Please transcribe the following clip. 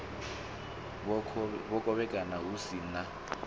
a khovhekano hu si na